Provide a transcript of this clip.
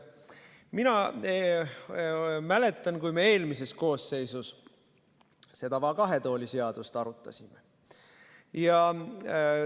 Mina mäletan, kui me eelmises koosseisus seda va kahe tooli seadust arutasime.